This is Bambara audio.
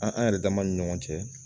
An an yɛrɛ dama ni ɲɔgɔn cɛ